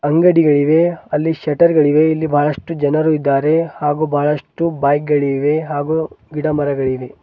ಅಂಗಡಿಗಳಿವೆ ಅಲ್ಲಿ ಶೆಟ್ಟರ್ ಗಳಿವೆ ಇಲ್ಲಿ ಬಹಳಷ್ಟು ಜನರು ಇದ್ದಾರೆ ಹಾಗೂ ಬಹಳಷ್ಟು ಬೈಕ್ಗಳಿವೆ ಹಾಗೂ ಗಿಡಮರಗಳಿವೆ.